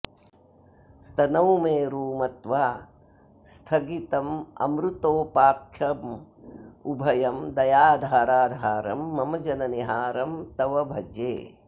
स्तनौ मेरू मत्वा स्थगितममृतोपाख्यमुभयं दयाधाराधारं मम जननि हारं तव भजे